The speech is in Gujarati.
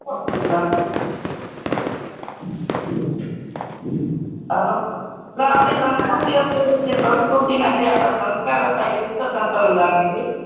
પછી લાગે છે hello સંસ્કૃતિ અત્યારે જે સંસ્કૃતિ જે આપડા સંસ્કાર હતા લુપ્ત થતા એવું લાગે છે